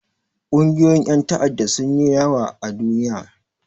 Ƙungiyoyin ƴan ta'adda sun yi yawa a duniya.